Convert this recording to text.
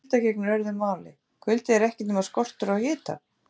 Um kulda gegnir öðru máli: Kuldi er ekkert nema skortur á hita!